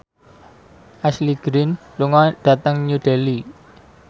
Ashley Greene lunga dhateng New Delhi